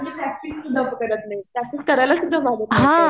ग्रामरची practice सुद्धा करत नाही प्रॅक्टिस करायला सुद्धा मागत नाही